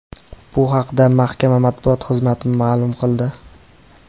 Bu haqda mahkama matbuot xizmati ma’lum qildi .